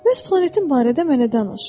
Bəs planetin barədə mənə danış.